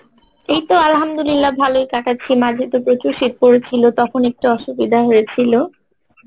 এইতো Arbi ভালোই কাটাচ্ছি মাঝেতো প্রচুর শীত পরেছিল তখুন একটু অসুবিধা হয়েছিলো